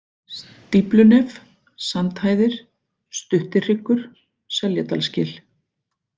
Stíflunef, Sandhæðir, Stuttihryggur, Seljadalsgil